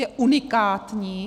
Je unikátní.